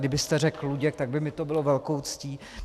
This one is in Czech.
Kdybyste řekl Luděk, tak by mi to bylo velkou ctí.